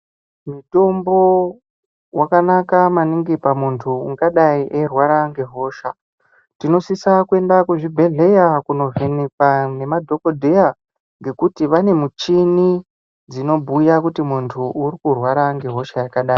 Mutombo wakanaka maningi pamuntu ungadai eirwara nehosha tinosisa kuenda kuchibhedhlera nemadhokodheya nekuti vane michini dzinobhuya kuti muntu uri kurwara nehosha yakadai.